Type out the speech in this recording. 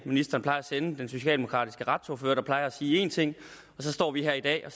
ministeren plejer at sende den socialdemokratiske retsordfører der plejer at sige en ting og så står vi her i dag